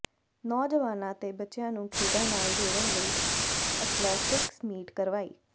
ਨੌਜਵਾਨਾਂ ਤੇ ਬੱਚਿਆਂ ਨੂੰ ਖੇਡਾਂ ਨਾਲ ਜੋੜਨ ਲਈ ਅਥਲੈਟਿਕਸ ਮੀਟ ਕਰਵਾਈ